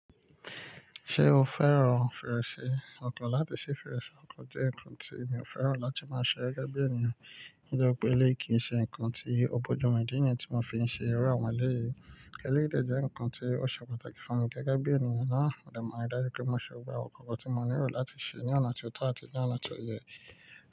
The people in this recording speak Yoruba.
Ṣé o fẹ́ràn fèrèsé? Nkàn láti ṣí fèrèsé ọkọ̀ jẹ́ ǹkan tí mi ò fẹ́ràn láti máa ṣe gẹ́gẹ́ bí ènìyàn, nítorí pé eléyìí kì ṣe ǹkan tí o kọjá ọmọ ẹ̀dá ènìyàn tí mo fi ń ṣe irú àwọn eléyìí. Eléyìí dẹ́ jẹ nkan ti o ṣe pàtàkì. Gẹ́gẹ́ bí ènìyàn na, mo dẹ̀ ma rí dájú pé mo ṣe gbogbo àwọn nkan kan tí mo nílò láti ṣe ní ọ̀nà tí ó tọ́ àti ní ọ̀nà tó yẹ.